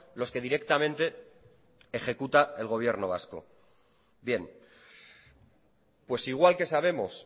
los que directamente ejecuta el gobierno vasco bien pues igual que sabemos